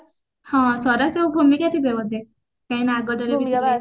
ହଁ ସ୍ବରାଜ୍ ଆଉ ଭୂମିକା ଥିବେ ବୋଧେ